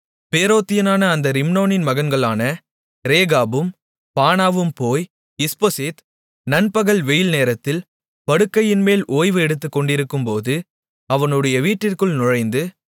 பேரோத்தியனான அந்த ரிம்மோனின் மகன்களான ரேகாபும் பானாவும் போய் இஸ்போசேத் நண்பகல் வெய்யில் நேரத்தில் படுக்கையின்மேல் ஓய்வு எடுத்துக்கொண்டிருக்கும்போது அவனுடைய வீட்டிற்குள் நுழைந்து